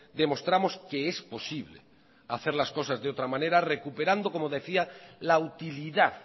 demostramos que es posible hacer las cosas de otra manera recuperando como decía la utilidad